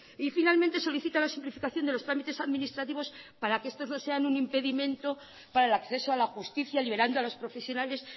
y finalmente solicita la simplificación de los trámites administrativos para que estos no sean un impedimento para el acceso a la justicia liberando a los profesionales